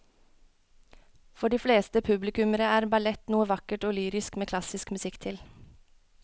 For de fleste publikummere er ballett noe vakkert og lyrisk med klassisk musikk til.